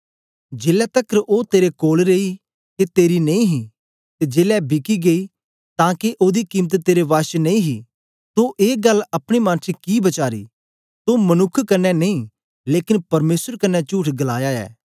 जेलै तकर ओ तेरे कोल रेई के तेरी नेई ही ते जेलै बिकी गेई तां के ओदी कीमत तेरे वश च नेई ही तो ए गल्ल अपने मन च कि बचारी तो मनुक्ख कन्ने नेई लेकन परमेसर कन्ने चुठ गलाया ऐ